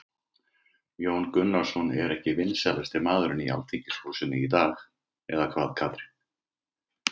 Þóra Kristín: Jón Gunnarsson er ekki vinsælasti maðurinn í Alþingishúsinu í dag eða hvað Katrín?